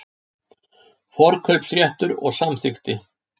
Forkaupsréttur og samþykki.